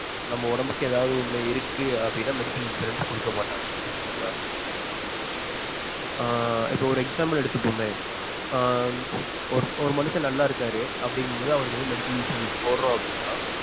நம்ம உடம்புக்கு ஏதாவது ஒன்னு இருக்கு அப்படின்னா medical insurance கொடுக்க மாட்டாங்க சரிங்களா. ஆஹ் இப்போ ஒரு example எடுத்துப்போமே ஆஹ் இப்ப ஒரு மனுஷன் நல்லா இருக்காரு அப்படிங்கும்போது அவருக்கு வந்து medical insurance போடுறோம் அப்டினா